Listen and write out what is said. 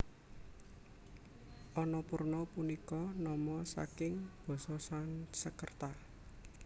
Annapurna punika nama saking basa Sansekerta